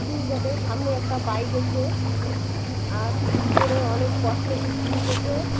সামনে একটা বাইক আছে | আর ভিতরে অনেক কসমেটিক জিনিস আছে।